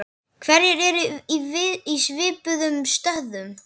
Hverjir eru í svipuðum stöðum?